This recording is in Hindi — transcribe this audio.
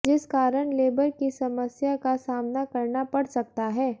जिस कारण लेबर की समस्या का सामना करना पड़ सकता है